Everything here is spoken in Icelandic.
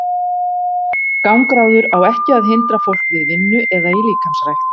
Gangráður á ekki að hindra fólk við vinnu eða í líkamsrækt.